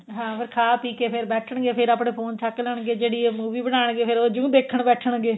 ਹਾਂ ਖਾ ਪੀਕੇ ਫੇਰ ਬੈਠਣਗੇ ਫੇਰ ਆਪਣੇ ਫੋਨ ਚੱਕ ਲੈਣਗੇ ਜਿਹੜੀ movie ਬਣਾਨਗੇ ਫੇਰ ਉਹ ਜੁੰ ਦੇਖਣ ਬੈਠਣਗੇ